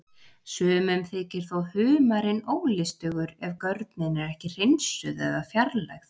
Sumum þykir þó humarinn ólystugur ef görnin er ekki hreinsuð eða fjarlægð.